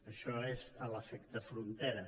això és l’efecte frontera